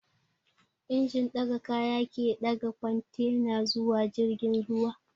Injin ɗaga kaya ke ɗaga kwantena zuwa jirgin ruwa